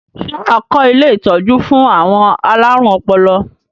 Ṣé wà á kọ́ ilé-ìtọ́jú fún àwọn alárùn ọpọlọ?